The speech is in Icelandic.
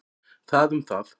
Það um það.